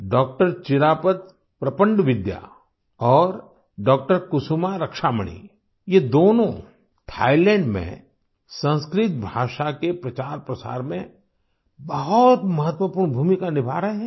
डॉ Chirapat Prapandavidya और डॉ कुसुमा रक्षामणि ये दोनों थाइलैंड में संस्कृत भाषा के प्रचारप्रसार में बहुत महत्वपूर्ण भूमिका निभा रहे हैं